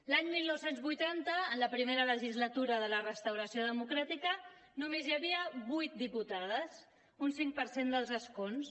l’any dinou vuitanta en la primera legislatura de la restauració democràtica només hi havia vuit diputades un cinc per cent dels escons